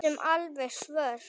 Næstum alveg svört.